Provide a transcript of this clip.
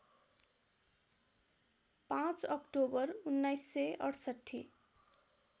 ५ October १९६८